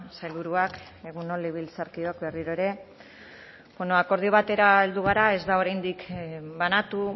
sailburuak egun on legebiltzarkideok berriro ere bueno akordio batera heldu gara ez da oraindik banatu